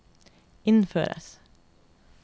innføres